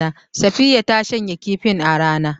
Safiya ta shanya kifin a rana